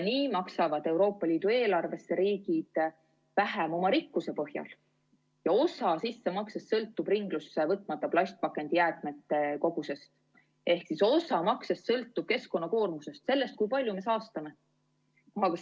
Nii maksavad Euroopa Liidu eelarvesse riigid vähem oma rikkuse põhjal ja osa sissemaksest sõltub ringlusse võtmata plastpakendijäätmete kogusest, ehk teisisõnu, osamakse suurus sõltub keskkonnakoormusest, sellest, kui palju me saastame.